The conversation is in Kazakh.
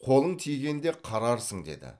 қолың тигенде қарарсың деді